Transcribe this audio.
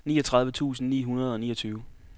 niogtredive tusind ni hundrede og niogtyve